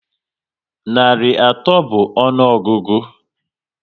Narị atọ bụ ọnụọgụgụ